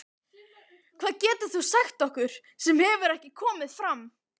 Hvað getur þú sagt okkur sem hefur ekki komið fram?